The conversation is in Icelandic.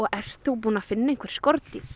ertu búin að finna einhver skordýr